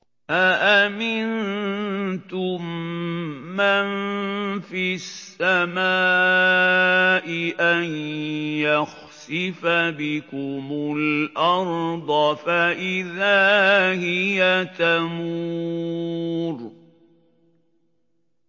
أَأَمِنتُم مَّن فِي السَّمَاءِ أَن يَخْسِفَ بِكُمُ الْأَرْضَ فَإِذَا هِيَ تَمُورُ